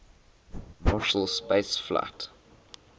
marshall space flight